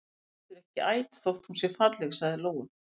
Hún er heldur ekki æt þótt hún sé falleg, sagði Lóa.